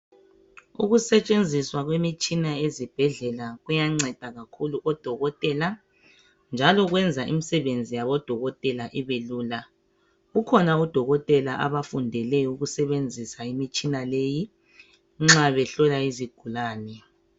Ukusetshenziswa kwemitshina ezibhedlela kuyanceda kakhulu odokotela njalo kwenza imisebenzi yabodokotela ibelula kukhona odokotela abafundele ukusebenzisa imitshina leyi nxa behlola izigulane.